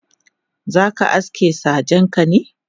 zaka aske sajenka ne?.